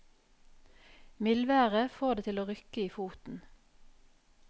Mildværet får det til å rykke i foten.